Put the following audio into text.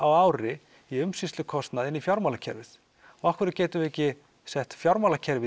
ári í umsýslukostnað inn í fjármálakerfið og af hverju getum við ekki sett fjármálakerfið